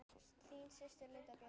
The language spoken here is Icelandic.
Þín systir, Linda Björk.